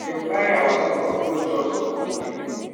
dem carry our sorghum go jos on monday